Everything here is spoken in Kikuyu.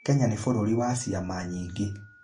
Kenya nĩ bũrũri wa ciama nyingĩ.